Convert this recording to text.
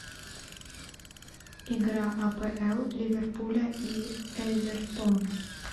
игра апл ливерпуля и эвертона